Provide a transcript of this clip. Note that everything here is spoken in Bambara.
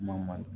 Mali